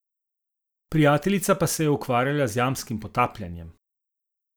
Prijateljica pa se je ukvarjala z jamskim potapljanjem.